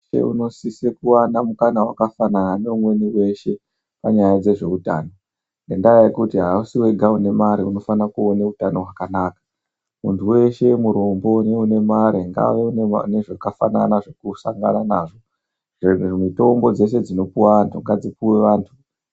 Muntu veshe unosise kuvana mukana vakafanana neumweni veshe panyaya dzezveutano. ngendaa yekuti hausi vega une mare unofanire kuona hutano hwakanaka. Muntu veshe murombo neune mare ngave nezvakafanana zvekusangana nazvo. Mitombo dzeshe dzinopuva antu ngadzipuve antu.